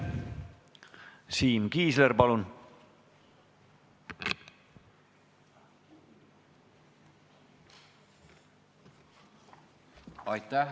Siim Kiisler, palun!